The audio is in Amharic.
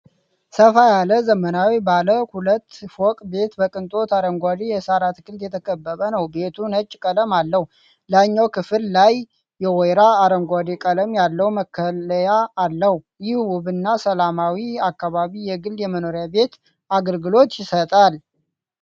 ሰፋ ያለ ዘመናዊ ባለ ሁለት ፎቅ ቤት በቅንጦት አረንጓዴ የሣር አትክልት የተከበበ ነው። ቤቱ ነጭ ቀለም አለው፡፡ ላይኛው ክፍል ላይ የወይራ አረንጓዴ ቀለም ያለው መከለያ አለው። ይህ ውብና ሰላማዊ አካባቢ የግል የመኖሪያ ቤት አገልግሎት ይሰጣል፡፡